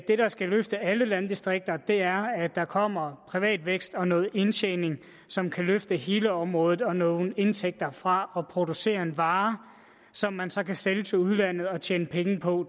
der skal løfte alle landdistrikter er at der kommer privat vækst og noget indtjening som kan løfte hele området og nogle indtægter fra at producere en vare som man så kan sælge til udlandet og tjene penge på